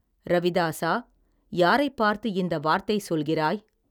ரவிதாஸா யாரைப் பார்த்து இந்த வார்த்தை சொல்கிறாய்.